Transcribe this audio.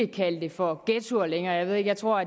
kalde det for ghettoer længere jeg tror